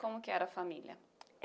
Como que era a família?